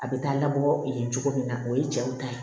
A bɛ taa labɔ ee jogo min na o ye cɛw ta ye